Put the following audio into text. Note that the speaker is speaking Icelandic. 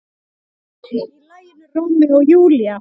Í laginu Rómeó og Júlía.